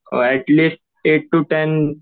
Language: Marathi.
at least at two times